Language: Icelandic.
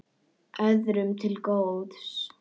Öðrum til góðs.